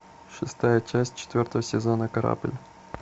шестая часть четвертого сезона корабль